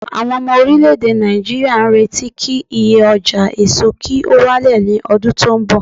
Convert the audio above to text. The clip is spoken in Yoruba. awon omo orileede Naijiriya n reti ki iye oja eso ki o wa le ni odun ton bo